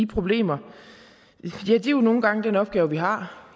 problemer ja det er jo nogle gange den opgave vi har